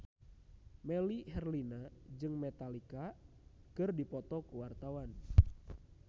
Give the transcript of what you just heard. Melly Herlina jeung Metallica keur dipoto ku wartawan